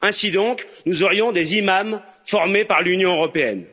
Ainsi donc, nous aurions des imams formés par l'Union européenne?